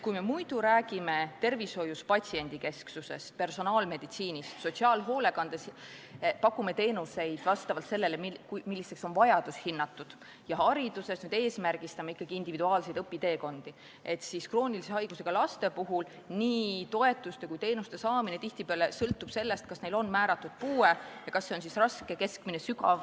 Kui me muidu räägime tervishoius patsiendikesksusest ja personaalmeditsiinist ning sotsiaalhoolekandes pakume teenuseid vastavalt sellele, milliseks on vajadus hinnatud, hariduses eesmärgistame samuti ikkagi individuaalseid õpiteekondi, siis kroonilise haigusega laste puhul sõltub nii toetuste kui ka teenuste saamine tihtipeale sellest, kas neil on määratud puue ning kas see on raske, keskmine või sügav.